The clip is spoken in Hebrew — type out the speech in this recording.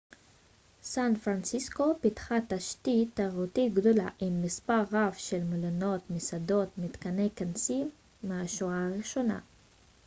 סן-פרנסיסקו פיתחה תשתית תיירותית גדולה עם מספר רב של מלונות מסעדות ומתקני כנסים מהשורה הראשונה